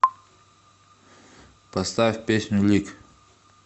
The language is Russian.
поставь песню лик